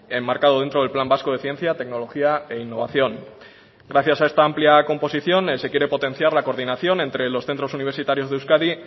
enmarcado dentro del plan vasco de ciencia tecnología e innovación gracias a esta amplia composición se quiere potenciar la coordinación entre los centros universitarios de euskadi